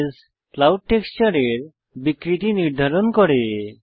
নইসে clouds টেক্সচারের বিকৃতি নির্ধারণ করে